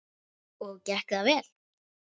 Og gekk það vel?